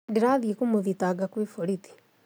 Ndĩrathiĩ kũmũthitanga kwĩ borithi